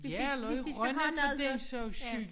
Ja eller i Rønne for den sags skyld